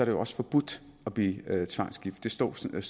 jo også forbudt at blive tvangsgift det står sådan